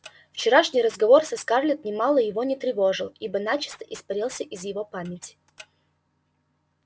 вчерашний разговор со скарлетт нимало его не тревожил ибо начисто испарился из его памяти